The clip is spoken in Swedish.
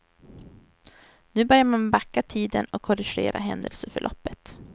Nu börjar man backa tiden och korrigera händelseförloppet.